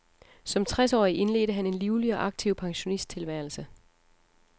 Som tres årig indledte han en livlig og aktiv pensionisttilværelse.